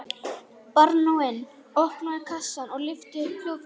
Baróninn opnaði kassann og lyfti upp hljóðfæri sínu.